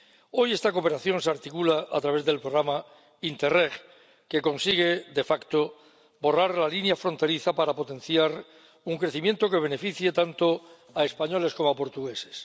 Hoy esta cooperación se articula a través del programa Interreg, que consigue de facto borrar la línea fronteriza para potenciar un crecimiento que beneficie tanto a españoles como a portugueses.